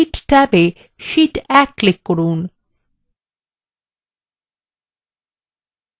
এখন sheet ট্যাবএ sheet 1 এ click করুন